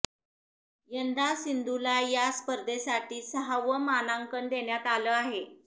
यंदा सिंधूला या स्पर्धेसाठी सहावं मानांकन देण्यात आलं आहे